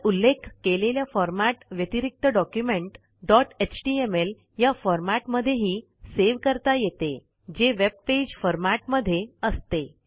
वर उल्लेख केलेल्या फॉरमॅट व्यतिरिक्त डॉक्युमेंट डॉट एचटीएमएल या फॉरमॅट मध्येही सेव्ह करता येते जे वेब पेज फॉरमॅट मध्ये असते